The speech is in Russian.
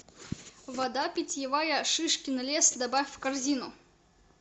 вода питьевая шишкин лес добавь в корзину